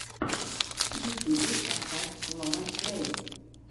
в ютюбе поставь лорен грэй